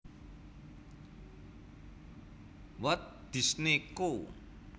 Walt Disney Co